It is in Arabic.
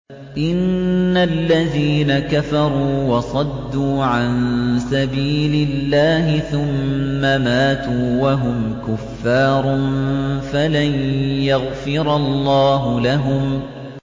إِنَّ الَّذِينَ كَفَرُوا وَصَدُّوا عَن سَبِيلِ اللَّهِ ثُمَّ مَاتُوا وَهُمْ كُفَّارٌ فَلَن يَغْفِرَ اللَّهُ لَهُمْ